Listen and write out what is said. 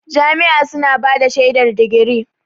Jami'a suna bada shaidar digiri.